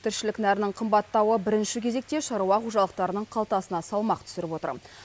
тіршілік нәрінің қымбаттауы бірінші кезекте шаруа қожалықтарының қалтасына салмақ түсіріп отыр